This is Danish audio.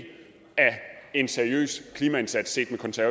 af en seriøs klimaindsats